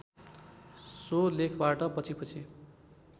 so लेखबाट पछिपछि